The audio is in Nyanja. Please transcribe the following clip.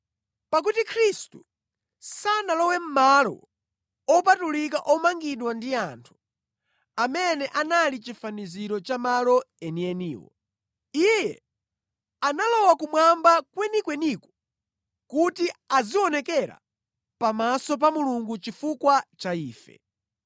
Pakuti Khristu sanalowe mʼmalo opatulika omangidwa ndi anthu amene anali chifaniziro cha malo enieniwo. Iye analowa kumwamba kwenikweniko kuti azionekera pamaso pa Mulungu chifukwa cha ife.